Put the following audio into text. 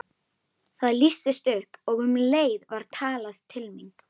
Það lýstist upp og um leið var talað til mín.